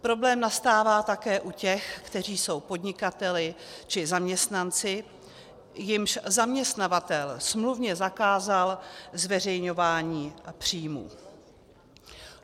Problém nastává také u těch, kteří jsou podnikateli či zaměstnanci, jimž zaměstnavatel smluvně zakázal zveřejňování příjmů.